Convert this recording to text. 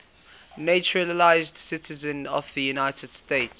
naturalized citizens of the united states